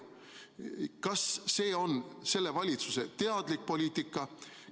Kas see on selle valitsuse teadlik poliitika?